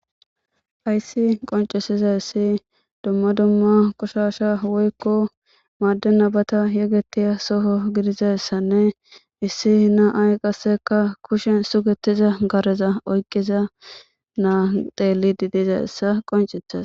hayssi qoncesiza issi dumma dumma qushasha woykko maadde nabata yegetiya soho gidizayssanne issi na7ay qasseka kushen sugetiza gareza oykqiza naa deeli didizassa qoncetes